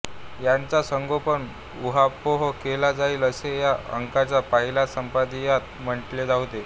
याचा सांगोपांग ऊहापोह केला जाईल असे या अंकाच्या पहिल्या संपादकीयात म्हटले होते